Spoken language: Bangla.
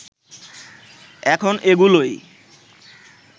এখন এগুলোই